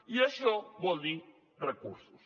i això vol dir recursos